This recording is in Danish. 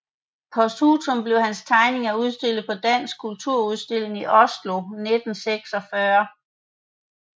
Posthumt blev hans tegninger udstillet på Dansk Kunstudstilling i Oslo 1946